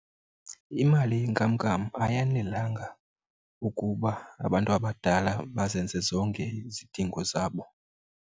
Imali yenkamnkam ayanelanga ukuba abantu abadala bazenze zonke izidingo zabo.